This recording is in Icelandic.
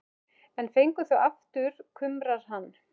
En fengið það aftur, kumrar hann.